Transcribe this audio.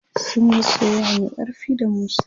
sunyi soyayya Mai ƙarfi da musa